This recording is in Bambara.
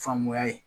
Faamuya ye